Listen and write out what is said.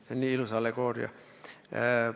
See on nii ilus allegooria.